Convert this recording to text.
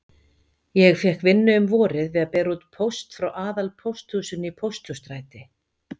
Ég fékk vinnu um vorið við að bera út póst frá aðalpósthúsinu í Pósthússtræti.